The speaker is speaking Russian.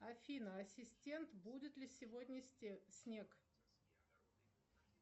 афина ассистент будет ли сегодня снег